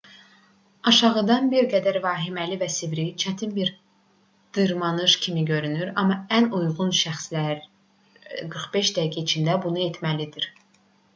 aşağıdan bir qədər vahiməli və sivri çətin bir dırmanış kimi görünür amma ən uyğun şəxslər 45 dəqiqə içində bunu etməlidir